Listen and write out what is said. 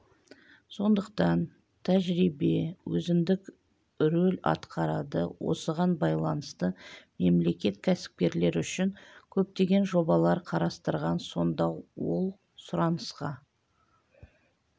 сондықтан тәжірибе өзіндік рөл атқарады осыған байланысты мемлекет кәсіпкерлер үшін көптеген жобалар қарастырған сонда ол сұранысқа